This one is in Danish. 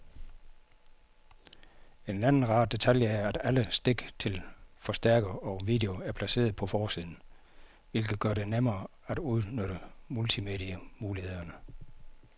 En anden rar detalje er, at alle stik til forstærker og video er placeret på forsiden, hvilket gør det nemmere at udnytte multimedie-mulighederne.